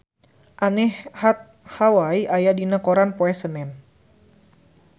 Anne Hathaway aya dina koran poe Senen